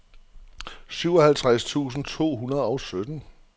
syvoghalvtreds tusind to hundrede og sytten